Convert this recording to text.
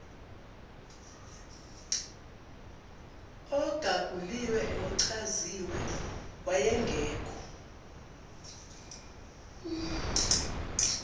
ogaguliwe nochaziwe wayengekho